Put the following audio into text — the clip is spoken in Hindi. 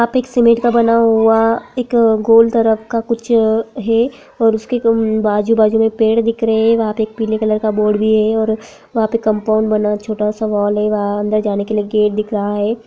यहाँ पे सीमेंट का बना हुआ एक गोल तरफ कुछ है और उसके आजू-बाजु में पेड़ दिख रहे है वहाँ पर पीले कलर का बोर्ड भी है वहाँ कम्पाउन्ड भी बना है छोटा-सा वॉल है वहां अंदर जाने के लिए गेट दिख रहा है।